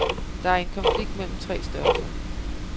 Det er en konflikt mellem tre størrelser.